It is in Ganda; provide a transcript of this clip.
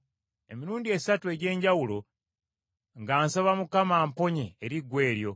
Emirundi esatu egy’enjawulo nga nsaba Mukama amponye eriggwa eryo.